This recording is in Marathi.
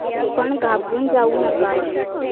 पण घाबरून जाऊ नका.